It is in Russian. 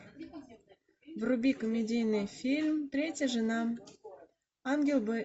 вруби комедийный фильм третья жена ангел б